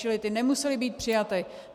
Stačily ty, nemusely být přijaty.